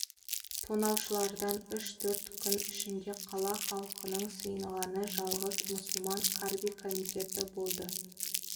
тонаушылардан үш-төрт күн ішінде қала халқының сыйынғаны жалғыз мұсылман карби комитеті болды